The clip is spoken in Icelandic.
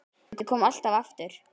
Ég kom alltaf aftur.